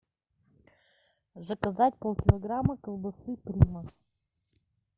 заказать пол килограмма колбасы прима